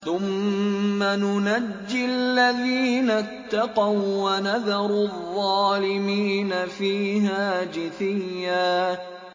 ثُمَّ نُنَجِّي الَّذِينَ اتَّقَوا وَّنَذَرُ الظَّالِمِينَ فِيهَا جِثِيًّا